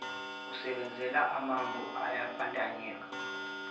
asebenzela amanpo ayabandanyeka